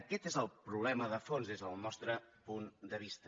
aquest és el problema de fons des del nostre punt de vista